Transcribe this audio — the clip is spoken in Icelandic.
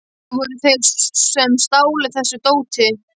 Það voru þeir sem stálu þessu dóti.